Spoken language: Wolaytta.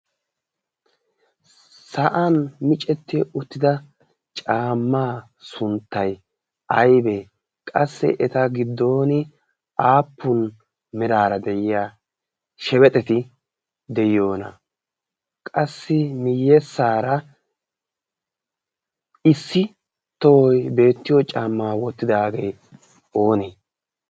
sa'an micetti uttida caammaa sunttai aibee qassi eta giddon aappun miraara de'iya shebexeti de'iyoona qassi miyyessaara issi tohoy beettiyo caammaa wottidaagee oonee